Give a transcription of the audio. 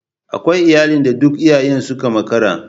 Akwai iyalan da duk iyayen suka makara.